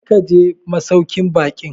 Kar ka je masauƙin baƙin!